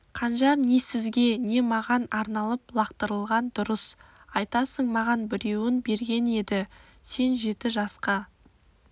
қанжар не сізге не маған арналып лақтырылған дұрыс айтасың маған біреуін берген еді сен жеті жасқа